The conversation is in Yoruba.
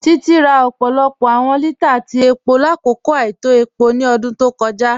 Títí rà ọpọlọpọ awọn lítàà tí epo lákọkọ àìtọ̀ epo ni ọ̀dún tó kọja.